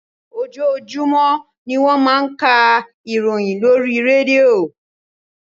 Ojoojumọ ni wọ́n máa ń ká ìròyìn lórí rédíò.